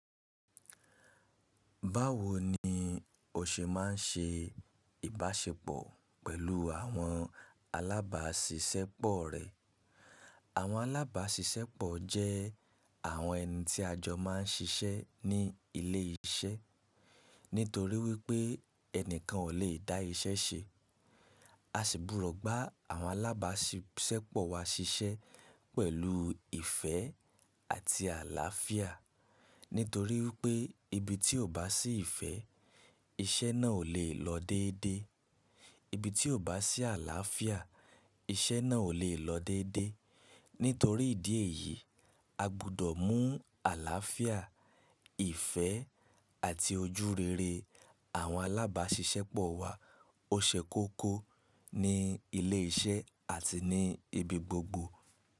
Báwo ni o ṣe má n se ìbáṣepọ̀ pẹ̀lú àwọn alábáṣiṣẹ́pọ̀ rẹ? Àwọn alábáṣiṣẹ́pọ̀ jẹ́ àwọn ẹni tí a jọ má n ṣiṣẹ́ ní ilé iṣẹ́. Nítorí wípé ẹni kan ò le dá iṣẹ́ ṣe. A sì burọ̀ gba àwọn alábáṣiṣẹ́pọ̀ wa ṣiṣẹ́ pẹ̀lú ìfẹ́ àti àlàáfíà. Nítorí wípé ibi tí ò bá sí ìfẹ́, iṣẹ́ náà ò le lọ déédé. Ibi tí ò bá sí àlàáfíà, iṣẹ́ náà ò le lọ déédé. Nítorí ìdí èyí, a gbudọ̀ mú àlàáfíà, ìfẹ́ àti ojúrere àwọn alábáṣiṣẹ́pọ̀ wa ó ṣe kókó ní ilé iṣẹ́ àti ní ibi gbogbo.